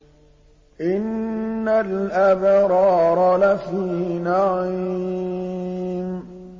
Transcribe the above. إِنَّ الْأَبْرَارَ لَفِي نَعِيمٍ